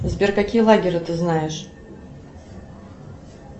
сбер какие лагеры ты знаешь